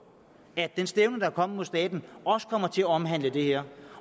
at den stævning der er kommet mod staten også kommer til at omhandle det her